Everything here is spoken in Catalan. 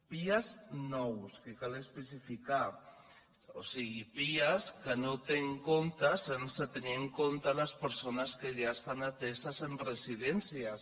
pia nous que cal especificar ho o sigui pia sense tenir en compte les persones que ja estant ateses en residències